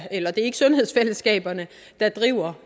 sundhedsfællesskaberne der driver